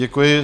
Děkuji.